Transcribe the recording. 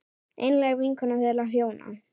Einlæg vinkona þeirra hjóna.